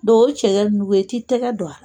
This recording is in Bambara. Dɔw o cɛkɛ ninnu, i t'i tɛgɛ don a la